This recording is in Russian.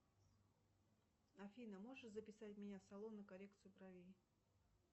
афина можешь записать меня в салон на коррекцию бровей